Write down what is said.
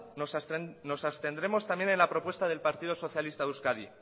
nos abstendremos también en la propuesta del partido socialista de euskadi